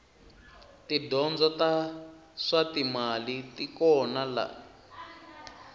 tidyondzo ta swatimali tikona lani